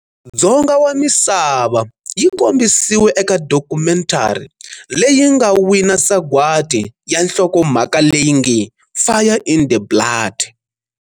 Dzonga wa misava, yi kombisiwe eka dokumentari leyi yi nga wina sagwati ya nhlokomhaka leyi nge-"Fire in the Blood".